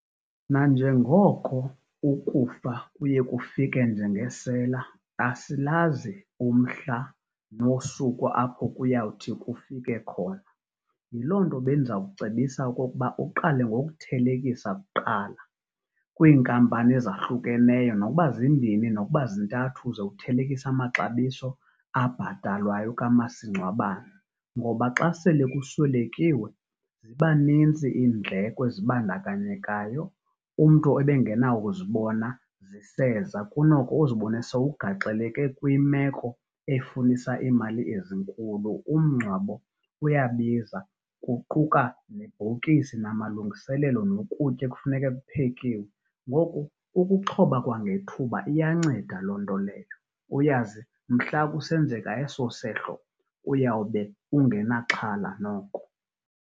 Nanjengoko ukufa kuye kufike njengesela asilazi umhla nosuku apho kuyawuthi kufike khona. Yiloo nto bendizawucebisa okokuba uqale ngokuthelekisa kuqala kwiinkampani ezahlukeneyo nokuba zimbini nokuba zintathu ze uthelekise amaxabiso abhatalwayo kamasingcwabane. Ngoba xa sele kuswelekiwe ziba nintsi iindleko ezibandakanyekayo umntu ebengenakuzibona ziseza, kunoko uzibone sowukugaxeleke kwimeko efunisa iimali ezinkulu. Umngcwabo uyabiza kuquka nebhokisi namalungiselelo nokutya ekufuneke kuphekiwe, ngoku ukuxhoba kwangethuba iyanceda loo nto leyo uyazi mhla kusenzeka eso sehlo uyawube ungenaxhala noko.